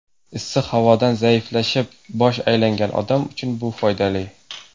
Issiq havodan zaiflashib, bosh aylangan odam uchun bu foydali.